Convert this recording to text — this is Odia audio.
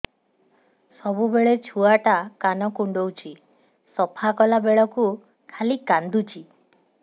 ସବୁବେଳେ ଛୁଆ ଟା କାନ କୁଣ୍ଡଉଚି ସଫା କଲା ବେଳକୁ ଖାଲି କାନ୍ଦୁଚି